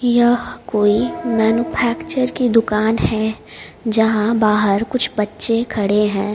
यह कोई मैन्यूफैक्चर की दुकान है जहाँ बाहर कुछ बच्चे खड़े हैं।